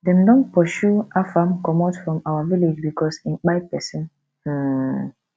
dem don pursue afam commot from our village because im kpai person um